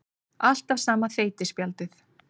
Alltaf sama þeytispjaldið.